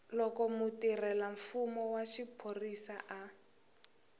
loko mutirhelamfumo wa xiphorisa a